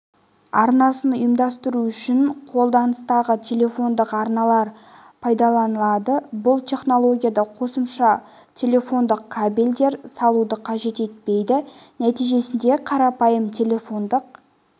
арнасын ұйымдастыру үшін қолданыстағы телефондық арналар пайдаланылады бұл технологияда қосымша телефондық кабельдер салуды қажет етпейді нәтижесінде қарапайым телефондық